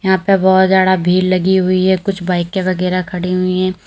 यहां पे बहोत ज्यादा भीड़ लगी हुई है कुछ बाइकें वगैरा खड़ी हुई हैं।